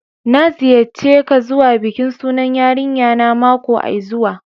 N'na ziyace ka zuwa bikin sunan yarinya na makoai zuwa.